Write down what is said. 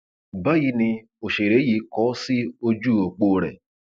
báyìí ni òṣèré yìí kọ ọ sí ojú ọpọ rẹ